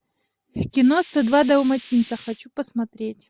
кино сто два далматинца хочу посмотреть